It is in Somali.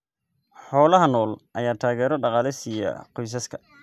Xoolaha nool ayaa taageero dhaqaale siiya qoysaska.